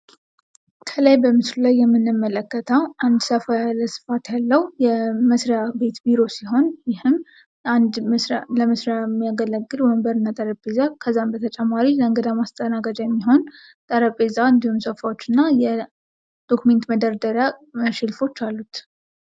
ከላይ በምስሉ ላይ የምንለከተው አንድ ሰፋ ያለ ስፋት ያለው የመስሪያ ቤት ቢሮ ሲሆን ይህም አንድ ለመስሪያ የሚያገለግል ወንበርእና ጠረንጴዛ ከዚያም በተጨማሪ ለእንግዳ መስተናገጃ የሚሆን ጠረንጴዛ እንዲሁም ሶፋዎችና የዶክመንት መደርደሪያ ሸልፎች አሉት።